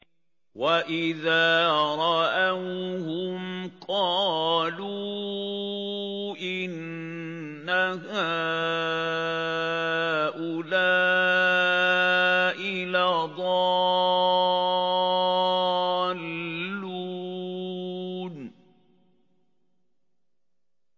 وَإِذَا رَأَوْهُمْ قَالُوا إِنَّ هَٰؤُلَاءِ لَضَالُّونَ